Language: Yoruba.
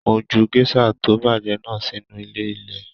Mo jù gèsà to bajẹ náà sínú ilé ilẹ.